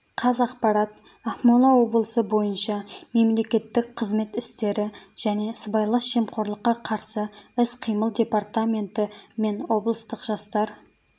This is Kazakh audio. қазақпарат ақмола облысы бойынша мемлекеттік қызмет істері және сыбайлас жемқорлыққа қарсы іс-қимыл департаменті мен облыстық жастар